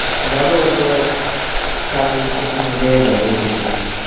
যাবো ওই তোর কাল পরশুর মধ্যে যাব ঘুরতে।